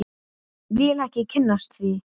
Vil ekki kynnast því.